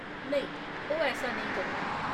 नेईं, ओह् ऐसा नेईं करङन।